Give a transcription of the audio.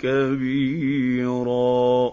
كَبِيرًا